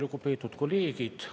Lugupeetud kolleegid!